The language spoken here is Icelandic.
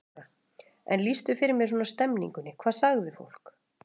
Þóra: En lýstu fyrir mér svona stemmingunni, hvað sagði fólk?